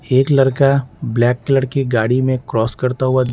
एक लड़का black colour की गाड़ी में क्रॉस करता हुआ --